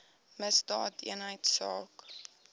misdaadeenheidsaak